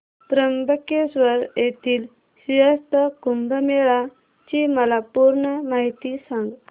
त्र्यंबकेश्वर येथील सिंहस्थ कुंभमेळा ची मला पूर्ण माहिती सांग